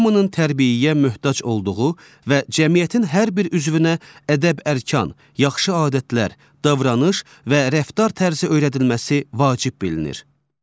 Hamının tərbiyəyə möhtac olduğu və cəmiyyətin hər bir üzvünə ədəb-ərkan, yaxşı adətlər, davranış və rəftar tərzi öyrədilməsi vacib bilinir.